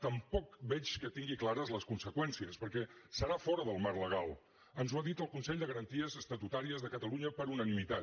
tampoc veig que tingui clares les conseqüències perquè serà fora del marc legal ens ho ha dit el consell de garanties estatutàries de catalunya per unanimitat